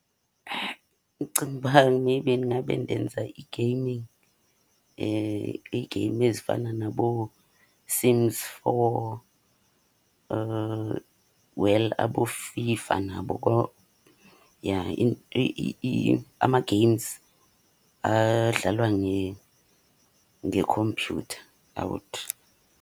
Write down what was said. Ndicinga uba maybe ndingabe ndenza i-gaming. Ii-game ezifana naboSims four, well aboFIFA nabo . Ja ama-games adlalwa ngekhompyutha .